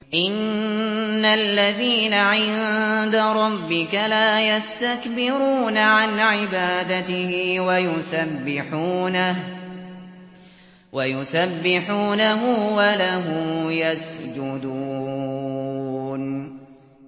إِنَّ الَّذِينَ عِندَ رَبِّكَ لَا يَسْتَكْبِرُونَ عَنْ عِبَادَتِهِ وَيُسَبِّحُونَهُ وَلَهُ يَسْجُدُونَ ۩